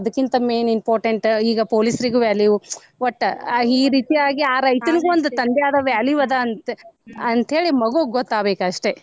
ಅದಕ್ಕಿಂತ main important ಈಗ ಪೋಲಿಸ್ರಿಗೆ value ಒಟ್ಟ ಈ ರೀತಿಯಾಗಿ ಆ ರೈತನಿಗು ಒಂದು ತಂದೆ ಆದ value ಇದೆ ಅಂತ ಹೇಳಿ ಮಗುಗ ಗೊತ್ತ ಆಗಬೇಕ ಅಷ್ಟೇ.